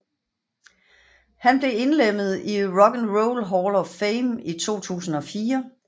Han blev indlemmet i Rock and Roll Hall of Fame i 2004